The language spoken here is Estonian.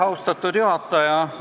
Austatud juhataja!